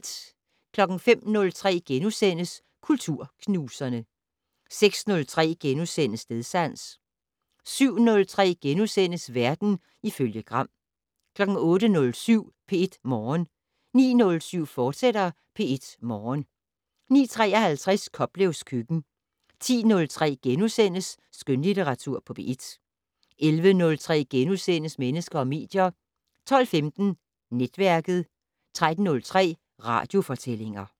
05:03: Kulturknuserne * 06:03: Stedsans * 07:03: Verden ifølge Gram * 08:07: P1 Morgen 09:07: P1 Morgen, fortsat 09:53: Koplevs køkken 10:03: Skønlitteratur på P1 * 11:03: Mennesker og medier * 12:15: Netværket 13:03: Radiofortællinger